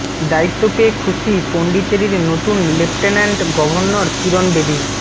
দায়িত্ব পেয়ে খুশি পণ্ডিচেরির নতুন লেফটেন্যান্ট গভর্নর কিরণ বেদি